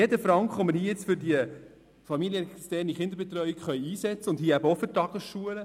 Jeder für die familienexterne Kinderbetreuung eingesetzte Franken, dazu gehören auch die Tagesschulen…